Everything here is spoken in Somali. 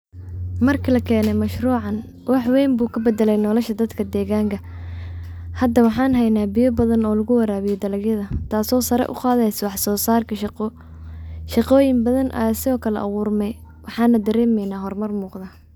Markaa laa kene mashruucan wax weyn buu kaa badale nolosha dadka degaanka hada waxan heyna bidaan badan oo lagu warabiiyo dalagyada taaso saare uu qadeysa wax soo sarkaa shaaqo. shaaqoyin badan ayaa sido kaale aburmee waxana daremeyna hormaar muqda.